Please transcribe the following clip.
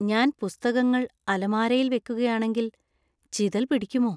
ഞാൻ പുസ്തകങ്ങൾ അലമാരയിൽ വെക്കുകയാണെങ്കിൽ ചിതൽ പിടിക്കുമോ?